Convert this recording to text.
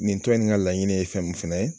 Nin to nin ka laɲini ye fɛn mun fɛnɛ ye